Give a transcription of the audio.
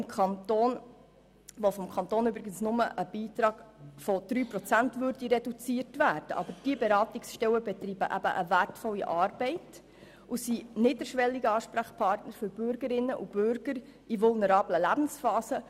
Es würde zwar nur eine Reduktion des Kantonsbeitrags um 3 Prozent auslösen, aber diese Beratungsstellen leisten wertvolle Arbeit und sind niederschwellige Ansprechpartnerinnen für die Bürgerinnen und Bürger in vulnerablen Lebensphasen.